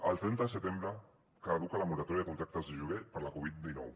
el trenta de setembre caduca la moratòria de contractes de lloguer per la covid dinou